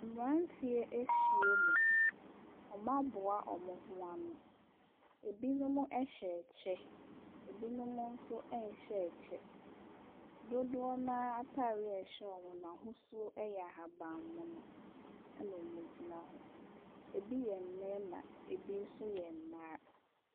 Mmeranteɛ ahyiam. Wɔaboa wɔn ho ano. Ebinom hyɛ kyɛ, ebinom nso nhyɛ kyɛ. Dodoɔ no ara atareɛ a ɛhyɛ wɔn no n'ahosuo yɛ ahaban mono, ɛnna wɔgyina hɔ. Ebi yɛ mmarima, ebi nso yɛ mmaa.